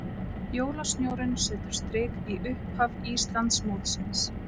Jólasnjórinn setur strik í upphaf Íslandsmótsins